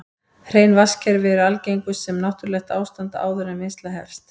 Hrein vatnskerfi eru algengust sem náttúrlegt ástand áður en vinnsla hefst.